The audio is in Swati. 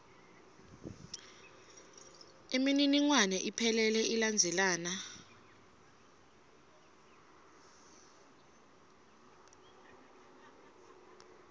imininingwane iphelele ilandzelana